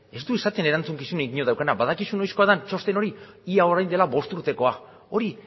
ez du esaten erantzukizun inork daukana badakizu noizkoa da txosten hori ia orain dela bost urtekoa hori